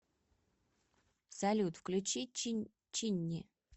салют включи чинни